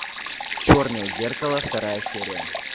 черное зеркало вторая серия